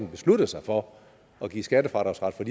besluttet sig for at give skattefradragsret for